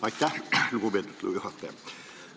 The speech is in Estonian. Aitäh, lugupeetud juhataja!